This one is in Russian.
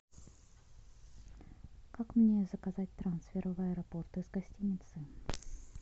как мне заказать трансфер в аэропорт из гостиницы